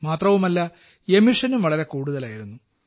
മാത്രവുമല്ല എമിഷനും വളരെ കൂടുതലായിരുന്നു